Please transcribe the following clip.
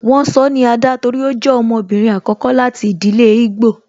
Won sọ ni Ada torí ó jẹ ọmọbìnrin àkọ́kọ́ láti ìdílé igbo